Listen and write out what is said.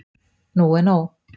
Nú er nóg.